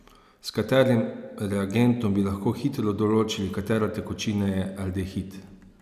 S katerim reagentom bi lahko hitro določili, katera tekočina je aldehid?